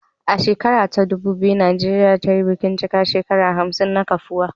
A shekara ta ɗubu biyu, Najeriya ta yi bikin cika shekaru hamsin na kafuwa